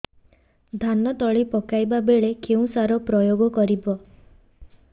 ଧାନ ତଳି ପକାଇବା ବେଳେ କେଉଁ ସାର ପ୍ରୟୋଗ କରିବା